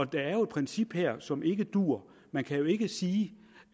der er jo et princip her som ikke duer man kan jo ikke sige